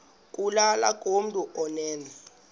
kulula kumntu onen